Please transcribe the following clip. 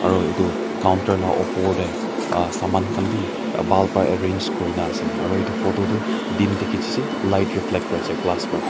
aru etu counter la opor te ah saman khan bi bhal para arrange kurina ase aru etu photo toh din te khichishe light reflect kuri ase glass pra.